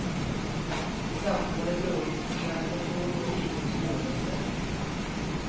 I centrum var det lugnt men kontor, butiker och skolor höll stängt.